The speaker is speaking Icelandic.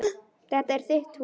Þetta er þitt hús.